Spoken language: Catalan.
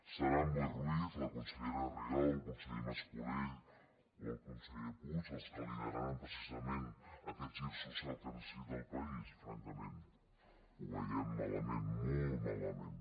seran boi ruiz la consellera rigau el conseller mascolell o el conseller puig els que lideraran precisament aquest gir social que necessita el país francament ho veiem malament molt malament